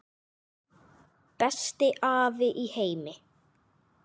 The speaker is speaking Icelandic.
Besti afi í heimi.